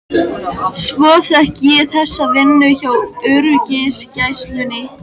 Svo fékk ég þessa vinnu hjá öryggisgæslunni.